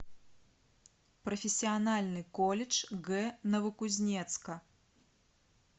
профессиональный колледж г новокузнецка